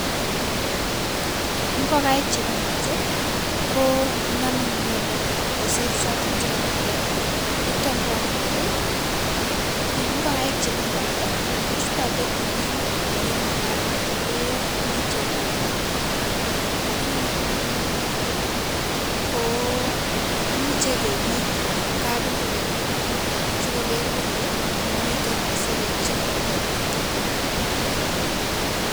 Ngokaik che bendote konamei miando kosiir choton chekakigeer, noton ko amune eng ngokaik che bendote kochute tumin ole makaran ole mi tiongik aina aina lakini yon kakiker ingokaik ko imuchei kepit kapingoken notok sikeker kele mamitei isirek che namei.